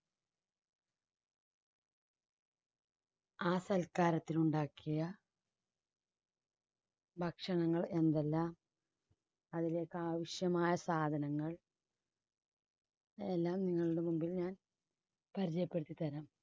ആ സൽക്കാരത്തിലുണ്ടാക്കിയ ഭക്ഷണങ്ങൾ എന്തെല്ലാം അതിലേക്കാവശ്യമായ സാധനങ്ങൾ എല്ലാം നിങ്ങളുടെ മുന്നിൽ ഞാൻ പരിചയപ്പെടുത്തിത്തരാം.